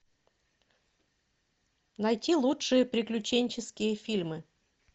найти лучшие приключенческие фильмы